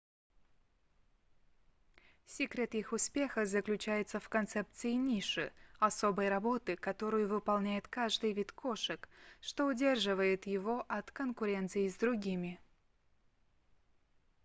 секрет их успеха заключается в концепции ниши особой работы которую выполняет каждый вид кошек что удерживает его от конкуренции с другими